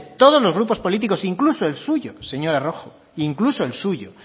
todos los grupos políticos incluso el suyo señora rojo incluso el suyo